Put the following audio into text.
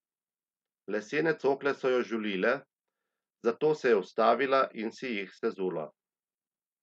Lesene cokle so jo žulile, zato se je ustavila in si jih sezula.